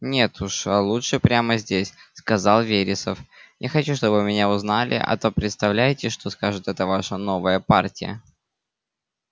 нет уж лучше прямо здесь сказал вересов не хочу чтобы меня узнали а то представляете что скажет эта ваша новая партия